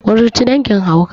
kuruci dangin hauka